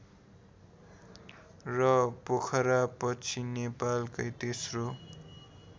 र पोखरापछि नेपालकै तेस्रो